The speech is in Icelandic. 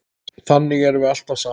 Þannig erum við alltaf saman.